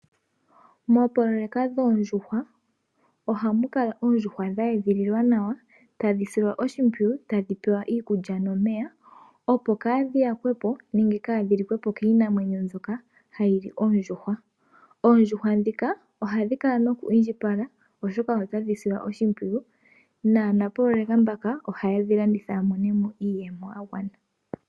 Moopololeka dhoondjuhwa ohamu kala oondjuhwa dha edhililwa nawa, tadhi silwa oshimpyiyu, tadhi pewa iikulya nomeya, opo kaadhi yakwepo nenge kaadhi liwe po kiinamwenyo mbyoka hayi li oondjuhwa. Oondjuhwa dhoka ohadhi kala noku indjipala , oshoka otadhi silwa oshimpwiyu, naanapololeka mboka ohaye dhi landitha ya mone mo iiyemo ya gwana.